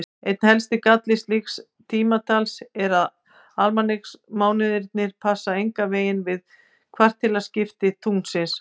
Einn helsti galli slíks tímatals er að almanaksmánuðirnir passa engan veginn við kvartilaskipti tunglsins.